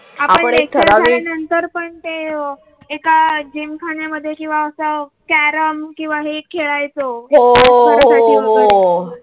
नंतर पण ते एका जिमखान्यामध्ये किंवा असा कॅरम किंवा हे खेळायच